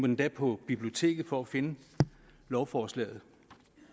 endda på biblioteket for at finde lovforslaget